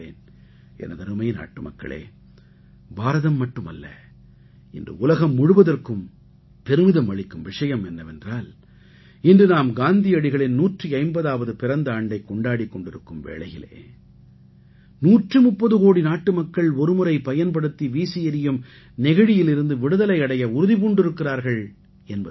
எனதருமை நாட்டுமக்களே பாரதம் மட்டுமல்ல இன்று உலகம் முழுவதற்கும் பெருமிதம் அளிக்கும் விஷயம் என்னவென்றால் இன்று நாம் காந்தியடிகளின் 150ஆவது பிறந்த ஆண்டைக் கொண்டாடிக் கொண்டிருக்கும் வேளையிலே 130 கோடி நாட்டுமக்கள் ஒருமுறை பயன்படுத்தி வீசி எறியும் நெகிழியிலிருந்து விடுதலை அடைய உறுதி பூண்டிருக்கிறார்கள் என்பது தான்